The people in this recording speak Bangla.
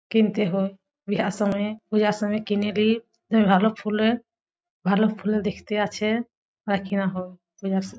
কিনতে হয় বিয়ার সময় বিয়ার সময় কিনে লি ভালো ফুলে ভালো ফুল দেখতে আছে আর কিনা হয় বিয়ার সময়।